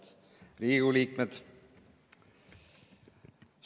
Head Riigikogu liikmed!